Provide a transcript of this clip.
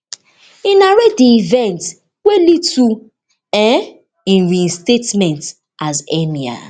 e narrate di events wey lead to um im reinstallation as emir